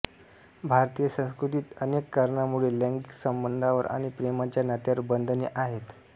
भारतीय संस्कृतीत अनेक कारणांमुळे लैंगिक संबंधांवर आणि प्रेमाच्या नात्यांवर बंधने आहेत